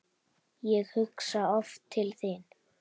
Ég hugsa oft til þín.